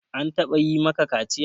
An taɓa yi maka kaciya?